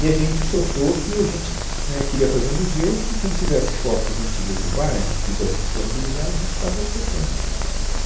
E a gente soltou que a gente éh queria fazer um museu que quem tivesse fotos antigas do bairro, que quisesse disponibilizar, a gente estava aceitando né.